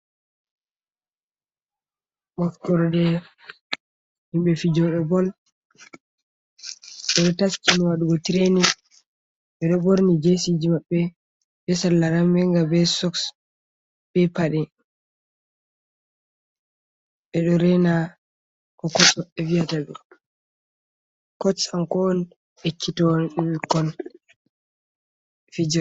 Wakkorde himɓe fijoɗe bol ɓeɗo taski no waɗugo treining, ɓeɗo ɓorni jesi ji maɓɓe be salla ramminga be soks be paɗe ɓeɗo rena ko oviyata cotch kanko on ekkitinowo ɓe.